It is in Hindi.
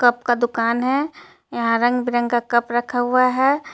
कप का दूकान है यहां रंग बिरंगा कप रखा हुआ है.